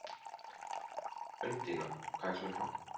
Undína, hvað er klukkan?